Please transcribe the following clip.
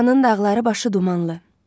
Şuşanın dağları başı dumanlı.